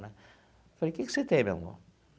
Né falei, o que que você tem, meu amor?